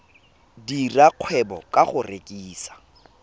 dira kgwebo ka go rekisa